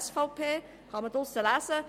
Dieser Flyer liegt draussen auf.